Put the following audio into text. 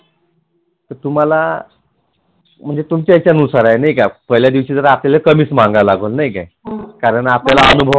तुम्हाला म्हणजे तुमच्या याच्यानुसार आहे पहिल्याज दिवशी आपल्याला कमीच माल मागवावा लागेल नाही काय कारण आपल्याला अनुभव